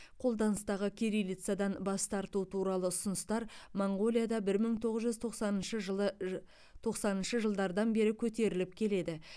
қолданыстағы кириллицадан бас тарту туралы ұсыныстар моңғолияда бір мың тоғыз жүз тоқсаныншы жылы ж тоқсаныншы жылыдардан бері көтеріліп келеді